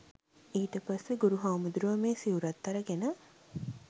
ඊට පස්සේ ගුරු හාමුදුරුවෝ මේ සිවුරත් අරගෙන